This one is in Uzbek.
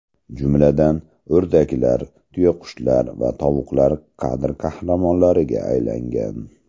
Jumladan, o‘rdaklar, tuyaqushlar va tovuqlar kadr qahramonlariga aylangan.